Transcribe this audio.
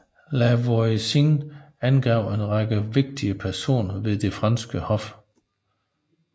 La Voisin angav en række vigtige personer ved det franske hof